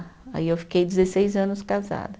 Aí eu fiquei dezesseis anos casada.